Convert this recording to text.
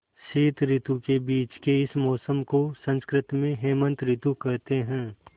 शीत के बीच के इस मौसम को संस्कृत में हेमंत ॠतु कहते हैं